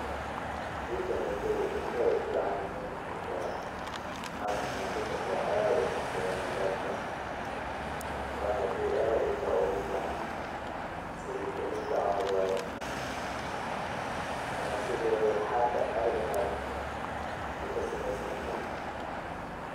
Sheyganeyto ilkaha uficanyahay marka qasatan dumarka aad ukarsadan wana shey aad ilkaha ogufican sidii galeyda camal waye, ama sidi xarka camal ayu kasameysanahay.